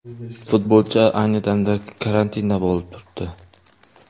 Futbolchi ayni damda karantinda bo‘lib turibdi.